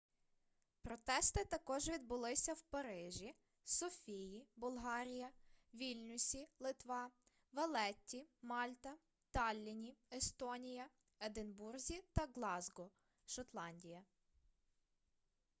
протести також відбулися у парижі софії болгарія вільнюсі литва валетті мальта таллінні естонія единбурзі та ґлазґо шотландія